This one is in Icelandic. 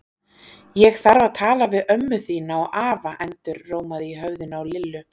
Ég þarf að tala við ömmu þína og afa endurómaði í höfðinu á Lillu.